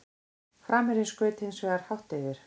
Framherjinn skaut hins vegar hátt yfir.